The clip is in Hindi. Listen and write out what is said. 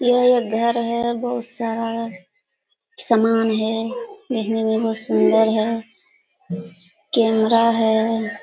ये एक घर है बहुत सारा समान है देखने में बहुत सुंदर है कैमरा है।